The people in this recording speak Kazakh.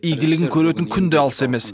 игілігін көретін күн де алыс емес